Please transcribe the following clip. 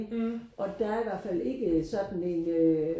og der er i hvert fald ikke sådan en øh